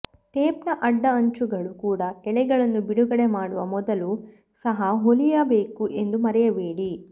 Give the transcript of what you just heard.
ಟೇಪ್ನ ಅಡ್ಡ ಅಂಚುಗಳು ಕೂಡಾ ಎಳೆಗಳನ್ನು ಬಿಡುಗಡೆ ಮಾಡುವ ಮೊದಲು ಸಹ ಹೊಲಿಯಬೇಕು ಎಂದು ಮರೆಯಬೇಡಿ